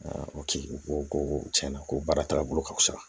o tigi ko ko tiɲɛna ko baara taaga bolo ka fusa